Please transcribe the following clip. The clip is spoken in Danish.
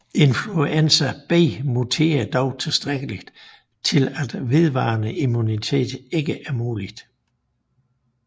Influenza B muterer dog tilstrækkeligt til at vedvarende immunitet ikke er muligt